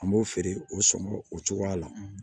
An b'o feere o sɔngɔ o cogoya la